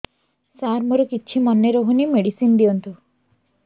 ସାର ମୋର କିଛି ମନେ ରହୁନି ମେଡିସିନ ଦିଅନ୍ତୁ